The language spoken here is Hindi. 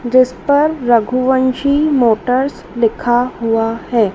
जिस पर रघुवंशि मोटर्स लिखा हुआ हैं।